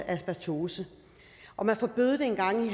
asbestose og man forbød det engang i